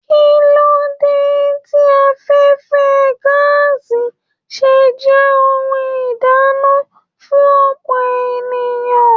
Kilo dé tí afẹfẹ gàásí ṣe jẹ ohùn ìdáná fún ọpọ ènìyàn?